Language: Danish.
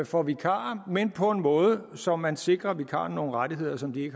for vikarer men på en måde så man sikrer vikarerne nogle rettigheder som de